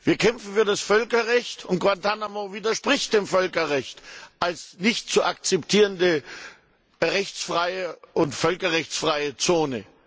Wir kämpfen für das Völkerrecht und Guantánamo widerspricht dem Völkerrecht als nicht zu akzeptierende rechtsfreie und völkerrechtsfreie Zone.